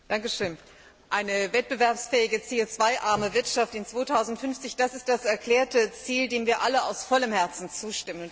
Herr Präsident! Eine wettbewerbsfähige, CO arme Wirtschaft 2050, das ist das erklärte Ziel, dem wir alle aus vollem Herzen zustimmen.